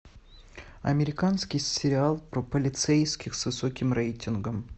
американский сериал про полицейских с высоким рейтингом